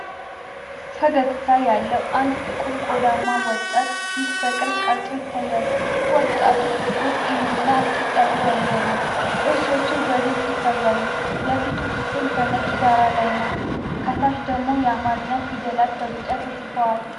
ፈገግታ ያለው አንድ ጥቁር ቆዳማ ወጣት ፊት በቅርብ ተቀርጾ ይታያል። ወጣቱ ጥቁር ፂምና አጭር ፀጉር ያለው ነው፣ ጥርሶቹ በግልጽ ይታያሉ። የፊቱ ክፍል በነጭ ዳራ ላይ ነው፣ ከታች ደግሞ የአማርኛ ፊደላት በቢጫ ተጽፈዋል።